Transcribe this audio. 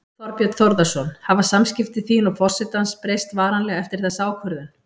Þorbjörn Þórðarson: Hafa samskipti þín og forsetans breyst varanlega eftir þessa ákvörðun?